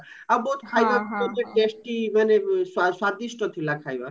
ଆଉ ବହୁତ ଖାଇବାକୁ କହିଲେ testy ମାନେ ସ୍ଵାଦିଷ୍ଟ ଥିଲା ଖାଇବା